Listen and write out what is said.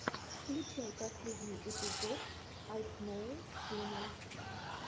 включай последний эпизод айкноу ченэл